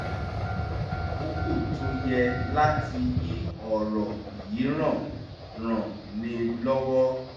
mímọ̀ àkókò tó yẹ láti yí ọ̀rọ̀ yíran ràn ni lọ́wọ́